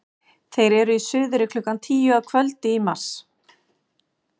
þeir eru í suðri klukkan tíu að kvöldi í mars